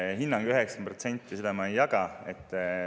Seda hinnangut, et see oli 90%, ma ei jaga.